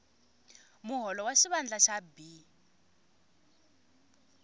muholo wa xivandla xa b